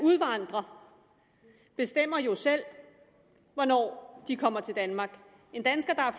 udvandrer bestemmer jo selv hvornår de kommer til danmark en dansker der er